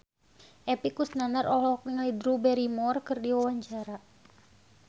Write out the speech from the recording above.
Epy Kusnandar olohok ningali Drew Barrymore keur diwawancara